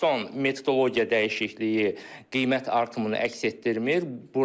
Son metodologiya dəyişikliyi qiymət artımını əks etdirmir.